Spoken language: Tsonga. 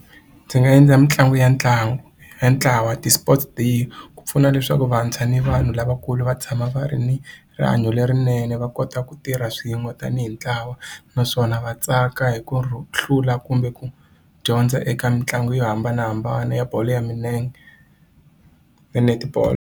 Ndzi nga endla mitlangu ya ntlangu ya ntlawa ti-sports day ku pfuna leswaku vantshwa ni vanhu lavakulu va tshama va ri ni rihanyo lerinene va kota ku tirha swin'we tanihi ntlawa naswona va tsaka hi ku hlula kumbe ku dyondza eka mitlangu yo hambanahambana ya bolo ya milenge na netball.